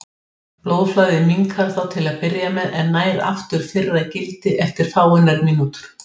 Ég var mun betri í fyrri hálfleik en þeim síðari.